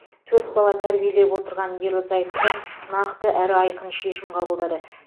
төрт бала тәрбиелеп отырған ерлі зайыпты нақты әрі айқын шешім қабылдады